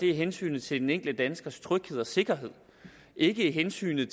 er hensynet til den enkelte danskers tryghed og sikkerhed ikke hensynet